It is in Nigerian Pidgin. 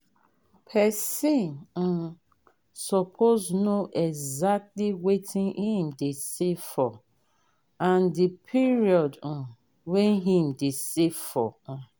person um suppose know exactly wetin him de save for and the period um wey him de save for um